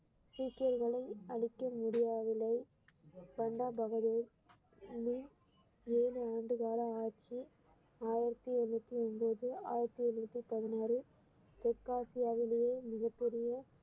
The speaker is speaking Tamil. சீக்கியர்களை அழிக்க முடியாவில்லை பண்டா பகதூர் ஏழு ஆண்டு கால ஆட்சி ஆயிரத்தி எழுநூத்தி ஒன்பது ஆயிரத்தி எண்ணூத்தி பதினாறு தெற்காசியாவிலேயே மிகப்பெரிய